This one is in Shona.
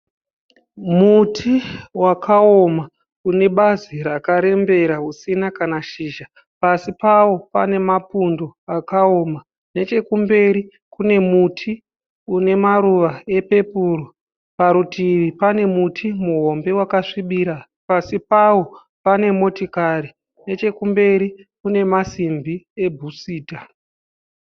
Muti wakaoma une bazi rakarembera usina kana zhizha. Pasi pawo pane mapundo akaoma nechekumberi kune muti une maruva epepuru parutivi pane muti muhombe wakasvibira pasi pawo pane motikari. Nechekumberi kune masimbi ebhusita.